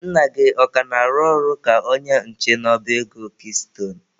Nna gị ọ ka na-arụ ọrụ ka onye nche n'ọba ego kiistone?